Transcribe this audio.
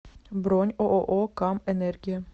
бронь ооо кам энергия